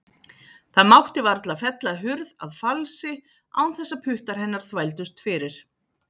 Það mátti varla fella hurð að falsi án þess að puttar hennar þvældust fyrir.